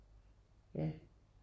Ja